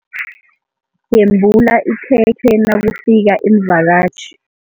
Yembula ikhekhe nakufika iimvakatjhi.